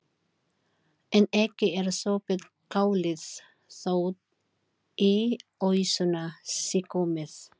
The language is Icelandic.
En ekki er sopið kálið þótt í ausuna sé komið.